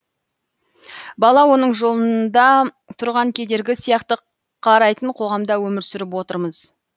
бала оның жолында тұрған кедергі сияқты қарайтын қоғамда өмір сүріп отырмыз